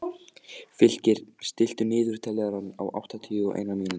Fylkir, stilltu niðurteljara á áttatíu og eina mínútur.